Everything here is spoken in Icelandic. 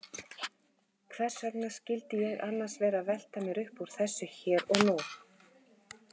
Hversvegna skyldi ég annars vera að velta mér uppúr þessu hér og nú?